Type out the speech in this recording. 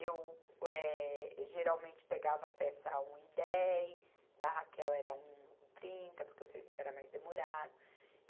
Eu, eh, geralmente pegava peça a um e dez, da Raquel era um e trinta, porque o serviço era mais demorado.